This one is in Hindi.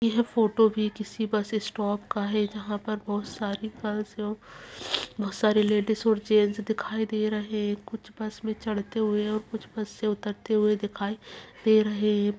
यह फोटो भी किसी बस स्टॉप का है जहाँ पर बहुत सारी गर्ल्स लोग बहोत सारी लेडिस और जेंट्स दिखाई दे रहे हैं कुछ बस में चढ़ते हुए कुछ बस से उतरते हुए दिखाई दे रहे हैं।